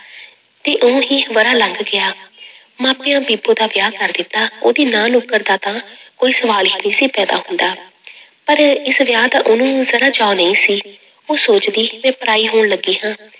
ਤੇ ਇਉਂ ਹੀ ਵਰ੍ਹਾ ਲੰਘ ਗਿਆ ਮਾਪਿਆਂ ਬੀਬੋ ਦਾ ਵਿਆਹ ਕਰ ਦਿੱਤਾ, ਉਹਦੀ ਨਾਂਹ ਨੁੱਕਰ ਦਾ ਤਾਂ ਕੋਈ ਸਵਾਲ ਹੀ ਨੀ ਸੀ ਪੈਦਾ ਹੁੰਦਾ ਪਰ ਇਸ ਵਿਆਹ ਦਾ ਉਹਨੂੰ ਜ਼ਰਾ ਚਾਅ ਨਹੀਂ ਸੀ, ਉਹ ਸੋਚਦੀ ਮੈਂ ਪਰਾਈ ਹੋਣ ਲੱਗੀ ਹਾਂ,